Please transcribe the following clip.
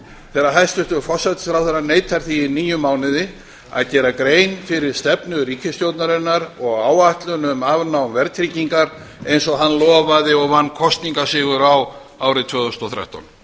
þegar hæstvirtur forsætisráðherra neitar því í níu mánuði að gera grein fyrir stefnu ríkisstjórnarinnar og áætlun um afnám verðtryggingar eins og hann lofaði og vann kosningasigur á árið tvö þúsund og þrettán